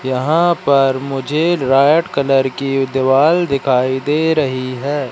यहां पर मुझे रेड कलर की दीवाल दिखाई दे रही है।